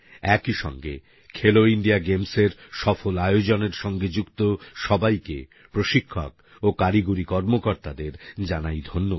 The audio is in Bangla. একইসঙ্গে খেলো ইন্ডিয়া গেমসের সফল আয়োজনের সঙ্গে যুক্ত সবাইকে প্রশিক্ষক ও কারিগরি কর্মকর্তাদের জানাই ধন্যবাদ